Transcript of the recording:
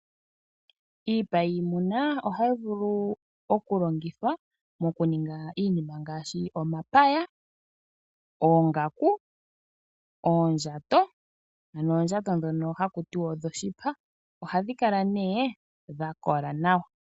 Iipa yimuna ohayi vulu okulongithwa moku ninga iinima ngashi omapaya, oongaku, oondjato ano oondjato dhoka haku tiwa odho shipa, ohadhi kala ne dhakola nawa.